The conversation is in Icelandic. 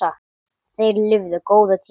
Þeir lifðu góða tíma.